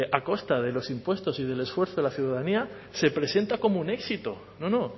a costa de los impuestos y del esfuerzo de la ciudadanía se presenta como un éxito no no